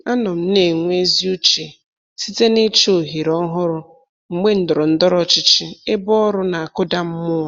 Anọ m na-enwe ezi uche site n'ịchọ ohere ọhụrụ mgbe ndọrọ ndọrọ ọchịchị ebe ọrụ na-akụda mmụọ.